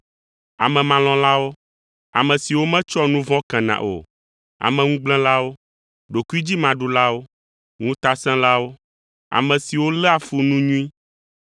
amemalɔ̃lawo, ame siwo metsɔa nu vɔ̃ kena o, ameŋugblẽlawo, ɖokuidzimaɖulawo, ŋutasẽlawo, ame siwo léa fu nu nyui,